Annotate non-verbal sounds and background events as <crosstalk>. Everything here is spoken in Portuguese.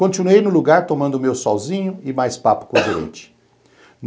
Continuei no lugar tomando meu solzinho e mais papo <coughs> com a gente.